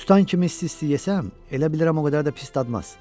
Tutan kimi isti-isti yesəm, elə bilirəm o qədər də pis dadmaz.